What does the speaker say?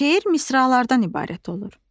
Şeir misralardan ibarət olur.